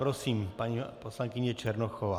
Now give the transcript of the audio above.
Prosím, paní poslankyně Černochová.